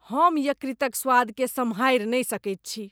हम यकृतक स्वादकेँ सम्हारि नहि सकैत छी।